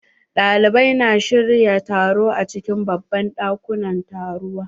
Ɗalibai na shirya taro a cikin babban dakunan taruwa